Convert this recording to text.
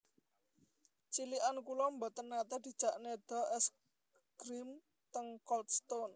Cilikan kula mboten nate dijak nedha es grim teng Cold Stone